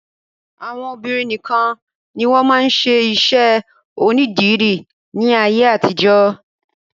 Àwọn obìnrin nìkan ni wọ́n máa ń ṣe iṣẹ́ onídìrí ní ayé àtijọ́.